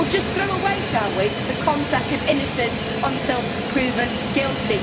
Shall we just throw away the concept of innocent until proven guilty?